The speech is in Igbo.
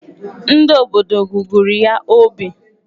Ndị obodo gụgụrụ ya obi.